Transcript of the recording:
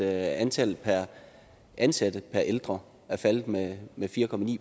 antal ansatte per ældre er faldet med med fire